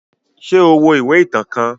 Ṣe o wo iwe itan kan?